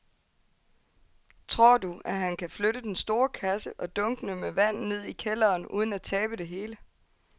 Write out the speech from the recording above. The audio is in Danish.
Tror du, at han kan flytte den store kasse og dunkene med vand ned i kælderen uden at tabe det hele?